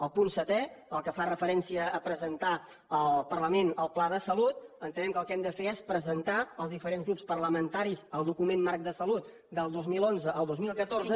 el punt setè el que fa referència a presentar al parlament el pla de salut entenem que el que hem de fer és presentar als diferents grups parlamentaris el document marc de salut del dos mil onze al dos mil catorze